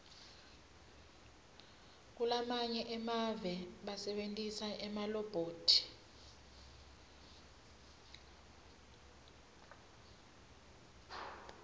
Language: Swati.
kulamanye emave basebentisa emalobhothi